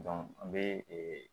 an bɛ